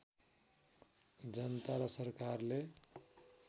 जनता र सरकारले